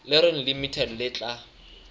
le reng limited le tla